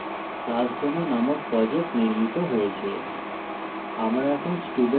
আমরা দেখি যে classdemo নামক project নির্মিত হয়েছে